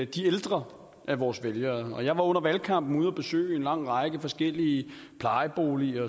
de ældre af vores vælgere jeg var under valgkampen ude at besøge en lang række forskellige plejeboliger